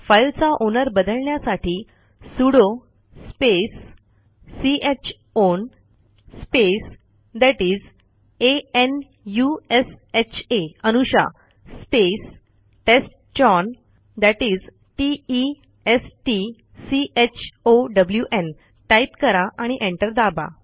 फाईलचा ओनर बदलण्यासाठी sudo space c h own space that is a n u s h आ Anusha space test chown that is t e s t c h o w न् type करा आणि enter दाबा